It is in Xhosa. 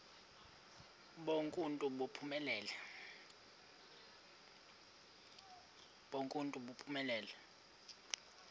bonk uuntu buphelele